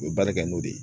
U bɛ baara kɛ n'o de ye